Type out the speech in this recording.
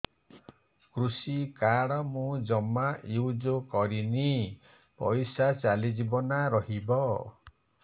କୃଷି କାର୍ଡ ମୁଁ ଜମା ୟୁଜ଼ କରିନି ପଇସା ଚାଲିଯିବ ନା ରହିବ